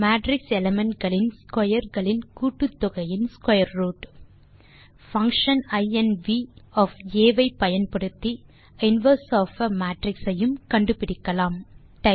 matrix element களின் square களின் கூட்டுத்தொகையின் ஸ்க்வேர் ரூட் பங்ஷன் இன்வ் ஐ பயன்படுத்தி இன்வெர்ஸ் ஒஃப் ஆ மேட்ரிக்ஸ் ஐயும் கண்டுபிடிக்கலாம்